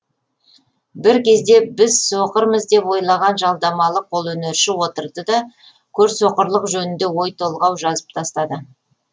бір кезде біз соқырмыз деп ойлаған жалдамалы қолөнерші отырды да көрсоқырлық жөнінде ой толғау жазып тастады